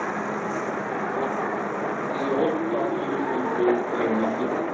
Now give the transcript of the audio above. åttioåtta tusen fyrtionio